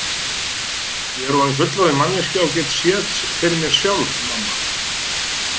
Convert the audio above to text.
Ég er orðin fullorðin manneskja og get séð fyrir mér sjálf mamma.